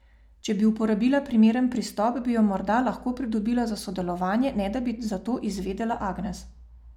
Če bi uporabila primeren pristop, bi jo morda lahko pridobila za sodelovanje, ne da bi za to izvedela Agnes.